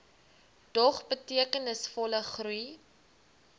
dog betekenisvolle groei